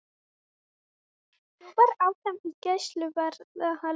Þjófar áfram í gæsluvarðhaldi